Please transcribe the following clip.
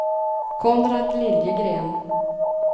Konrad Liljegren